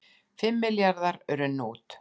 Fimm milljarðar runnu út